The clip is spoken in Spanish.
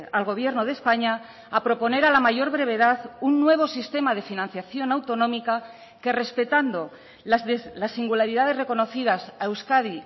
al gobierno de españa a proponer a la mayor brevedad un nuevo sistema de financiación autonómica que respetando las singularidades reconocidas a euskadi